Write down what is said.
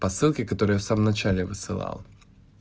посылки которые я в самом начале высылал